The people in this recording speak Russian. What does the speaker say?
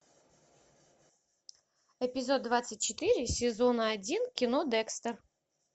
эпизод двадцать четыре сезона один кино декстер